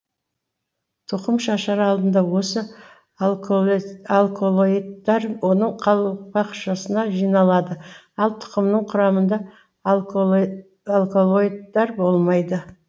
тұқым шашар алдында осы алколоидтар оның қалпақшасына жиналады ал тұқымының құрамында алколоидтар болмайды